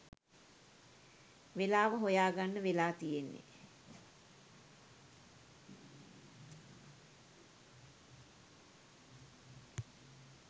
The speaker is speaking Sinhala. වෙලාව හොයා ගන්න වෙලා තියෙන්නේ.